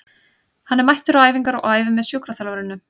Hann er mættur á æfingar og æfir með sjúkraþjálfurunum.